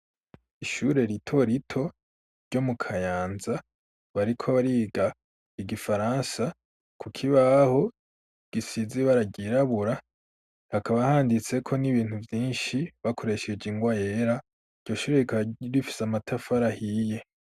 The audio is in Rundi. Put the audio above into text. Ishure rito rito, ryo mu Kayanza; bariko bariga igifaransa, ku kibaho, gisize ibara ryirabura; hakaba handitseko, n'ibintu vyinshi, bakoresheje ingwa yera, iryo shure, rifise amatafara ahiye.